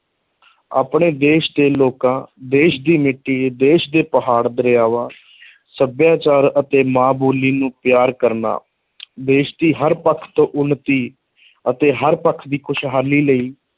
ਆਪਣੇ ਦੇਸ਼ ਦੇ ਲੋਕਾਂ, ਦੇਸ਼ ਦੀ ਮਿੱਟੀ, ਦੇਸ਼ ਦੇ ਪਹਾੜ, ਦਰਿਆਵਾਂ ਸੱਭਿਆਚਾਰ ਅਤੇ ਮਾਂ-ਬੋਲੀ ਨੂੰ ਪਿਆਰ ਕਰਨਾ ਦੇਸ਼ ਦੀ ਹਰ ਪੱਖ ਤੋਂ ਉੱਨਤੀ ਅਤੇ ਹਰ ਪੱਖ ਦੀ ਖੁਸ਼ਹਾਲੀ ਲਈ